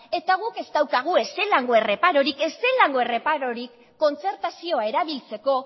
eta guk ez daukagu ezelango erreparurik ezelango erreparurik kontzertazioa erabiltzeko